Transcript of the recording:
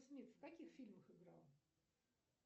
смит в какизх фильмах играл